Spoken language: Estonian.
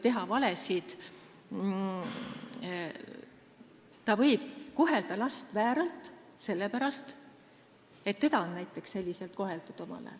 Ta võib kohelda last vääralt sellepärast, et näiteks teda omal ajal selliselt koheldi.